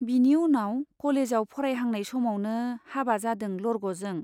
बिनि उनाव कलेजाव फरायहांनाय समावनो हाबा जादों लरग'जों।